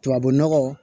Tubabu nɔgɔ